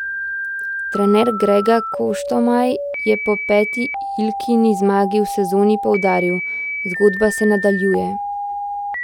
Trener Grega Koštomaj je po peti Ilkini zmagi v sezoni poudaril: 'Zgodba se nadaljuje.